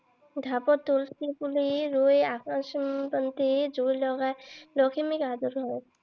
ঢাপত তুলসী পুলি ৰুই আকাশ বন্তি জুই লগাই লখিমীক আদৰে।